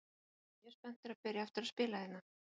Ég er mjög spenntur að byrja aftur að spila hérna.